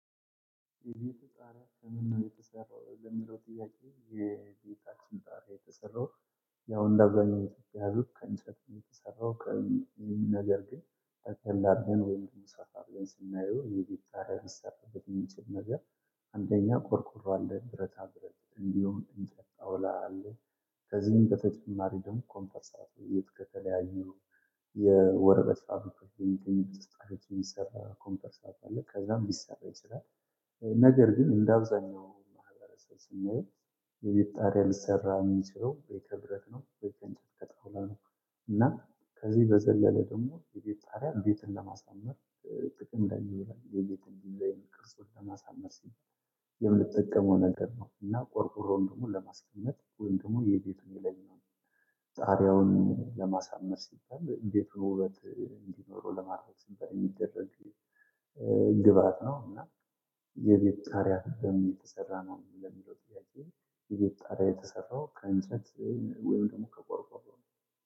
የቤተ ጣሪያ ከምን ነው የተሰራው? ለሚለው ጥያቄ የቤታችን ጣራ የተሰራው ያው እንዳገኘው ያዙት ከእንጨት የተሰራው ከእኔ ነገር ግን ጠቅለል አርገን ወይም ሰፋ ስናየው የቤት ጣራ የሚሰራበት የሚገርም ነገር። አንደኛ ቆርቁሮ አለ ብረት አብረት እንዲሁ እንጠጣው እላለሁ። በተጨማሪም ኮምፐርሳት ከተለያዩ አብረን የሚሰጣቸው ኮምፐርሳት አለ። ከዛም ቢሰራ ስራ። ነገር ግን እንደ አብዛኛው ማህበረሰብ ስንሄድ የቤት ጣሪያ ሊሰራ የሚችለው ከበረት ነው በቀን ጠብቀጥ ነው። እና ከዚህ በዘለለ ደግሞ የቤት ሳራ ቤትን ለማሳመር ጥቅም ላይ ይውላል። የቤትን ለመቅረስ ወደ ማሳመስ የምትጠቀመው ነገር ነው። እና ቆርቆሮን ደግሞ ለማስገኘት ወንድሙ የቤቱን ይለኛል። ጥሪያውን ለማሳመር ሲባልየቤቱ ውበት እንዲኖረው ለማድረግ ሲባል የሚደረግ ግብአት ነው። እና የቤት ጣሪያ ትርጉም እየተሰራ ነው የሚለው ጥያቄ? የቤት ጣሪያ የተሰራው ከእንትነት ወይም ደግሞ ከቆርቆሮ ነው።